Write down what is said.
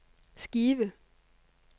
skive